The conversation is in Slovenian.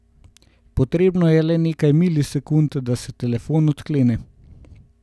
Potrebno je le nekaj milisekund, da se telefon odklene.